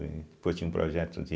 Depois tinha um projeto de...